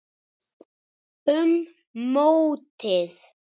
Um mótið